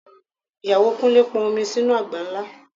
Ìyàwó Kúnlé pọn omi sínú àgbá ńlá